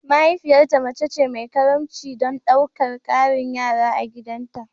Mahaifiyarta mace ce mai karimci don ɗaukar ƙarin yara a gidanta